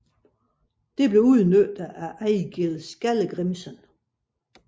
Det blev udnyttet af Egil Skallagrimson